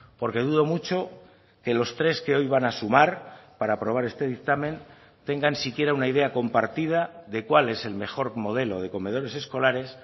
porque dudo mucho que los tres que hoy van a sumar para aprobar este dictamen tengan siquiera una idea compartida de cuál es el mejor modelo de comedores escolares